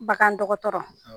Bagan dɔgɔtɔrɔ.